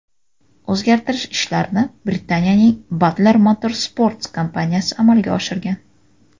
O‘zgartirish ishlarini Britaniyaning Butler Motorsports kompaniyasi amalga oshirgan.